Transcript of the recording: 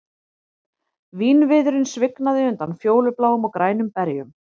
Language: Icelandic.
Vínviðurinn svignaði undan fjólubláum og grænum berjum